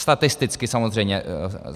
Statisticky samozřejmě.